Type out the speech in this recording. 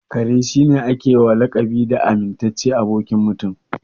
Kare shi ne a ke wa lakabi da amintaccen abokin Mutum.